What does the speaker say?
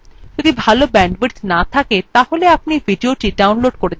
যদি ভাল bandwidth না থাকে তাহলে আপনি ভিডিওটি download করে দেখতে পারেন